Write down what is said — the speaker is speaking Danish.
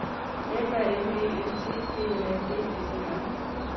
F A N G S T P L A D S E R